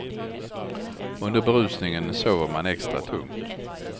Under berusningen sover man en extra tungt.